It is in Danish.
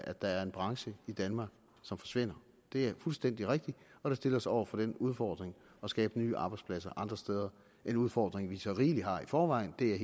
at der er en branche i danmark som forsvinder det er fuldstændig rigtigt og det stiller os over for den udfordring at skabe nye arbejdspladser andre steder en udfordring vi så rigeligt har i forvejen det er